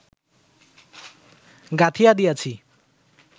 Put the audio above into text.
গাঁথিয়া দিয়াছি